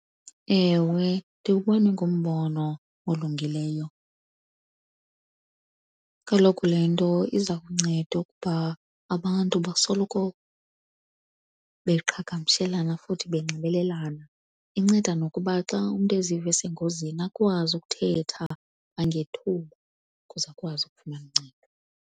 Ewe, ndiwubona ingumbono olungileyo. Kaloku le nto iza kunceda ukuba abantu basoloko beqhagamshelana futhi benxibelelana. Inceda nokuba xa umntu eziva esengozini akwazi ukuthetha kwangethuba ukuze akwazi ukufumana uncedo.